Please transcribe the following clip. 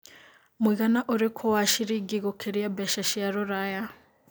mũigana ũrikũ wa ciringi gũkĩria mbeca cia rũraya